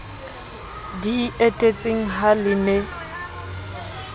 di etetseng ha le ne